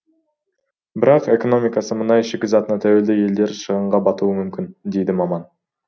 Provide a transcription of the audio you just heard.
бірақ экономикасы мұнай шикізатына тәуелді елдер үлкен шығынға батуы мүмкін дейді маман